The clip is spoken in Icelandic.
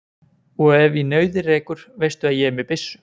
Og ef í nauðir rekur veistu að ég er með byssu.